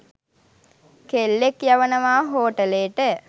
කෙල්ලෙක්‌ යවනවා හෝටලේට